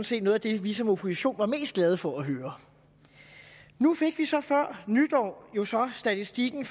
set noget af det vi som opposition var mest glade for at høre nu fik vi så før nytår statistikken